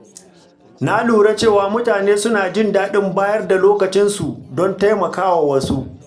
Na lura cewa mutane suna jin daɗin bayar da lokacinsu don taimakawa wasu.